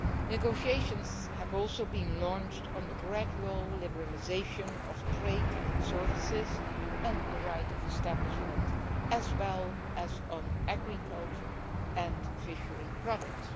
Negotiations have also been launched on the gradual liberalisation of trade in services and the right of establishment, as well as on agriculture and fishery products.